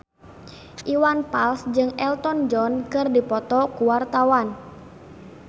Iwan Fals jeung Elton John keur dipoto ku wartawan